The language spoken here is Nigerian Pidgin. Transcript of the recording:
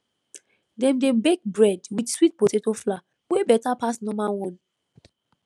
dem dey bake bread with sweet potato flour wey better pass normal one